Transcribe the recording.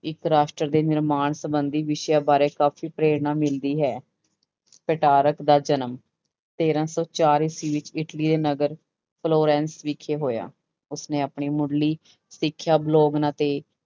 ਇੱਕ ਰਾਸ਼ਟਰ ਦੇ ਨਿਰਮਾਣ ਸੰਬੰਧੀ ਵਿਸ਼ਿਆਂ ਬਾਰੇ ਕਾਫ਼ੀ ਪ੍ਰੇਰਣਾ ਮਿਲਦੀ ਹੈ, ਪਟਾਰਕ ਦਾ ਜਨਮ ਤੇਰਾਂ ਸੌ ਚਾਰ ਈਸਵੀ ਵਿੱਚ ਇਟਲੀ ਦੇ ਨਗਰ ਫਲੋਰੈਂਸ ਵਿਖੇ ਹੋਇਆ ਉਸਨੇ ਆਪਣੀ ਮੁੱਢਲੀ ਸਿੱਖਿਆ ਬਲੋਵਨ ਅਤੇ